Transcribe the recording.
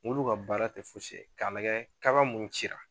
Mɔbiliw ka baara kun foyise ka nɛgɛ kaba minnu ci